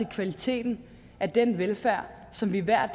kvaliteten af den velfærd som vi hver